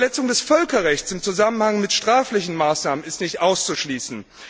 Die Verletzung des Völkerrechts im Zusammenhang mit sträflichen Maßnahmen ist nicht auszuschließen.